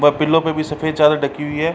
व पिल्लो पे भी सफ़ेद चादर ढकी हुई है।